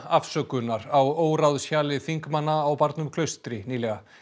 afsökunar á þingmanna á barnum Klaustri nýlega